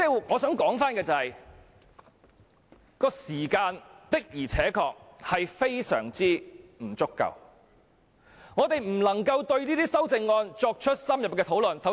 我想說的是時間確實非常不足，令我們無法就這些修訂議案進行深入的討論。